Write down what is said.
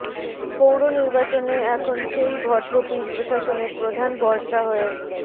পৌর নির্বাচনে এখন সেই ভটভটিই প্রশাসনের প্রধান ভরসা হয়ে